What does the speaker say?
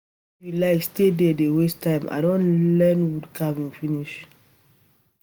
If you like stay there dey waste time I don learn learn wood carving finish